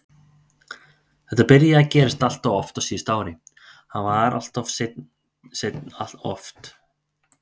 Þetta byrjaði að gerast alltof oft á síðasta ári, hann var alltof seinn alltof oft.